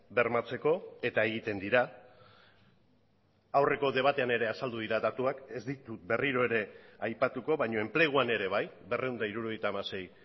bermatzeko eta egiten dira aurreko debatean ere azaldu dira datuak ez ditut berriro ere aipatuko baina enpleguan ere bai berrehun eta hirurogeita hamasei